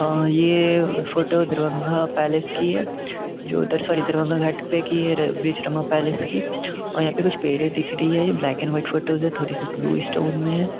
अ ये फोटो दरभंगा पैलेस की है जो दर सोरी दरभंगा घाट पे की और ब्रिजरमा पैलेस की है और यहाँ पे कुछ पेड़े दिख रही है। ये ब्लैक एण्ड व्हाइट फ़ोटोज़ है थोड़ी-सी ब्लूइश टोन में है।